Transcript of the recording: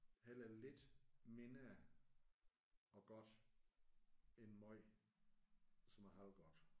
Hellere lidt mindre og godt end måj som er halvgodt